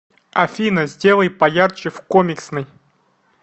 афина сделай поярче в комиксной